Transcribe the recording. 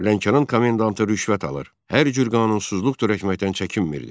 Lənkəran komendantı rüşvət alır, hər cür qanunsuzluq törətməkdən çəkinmirdi.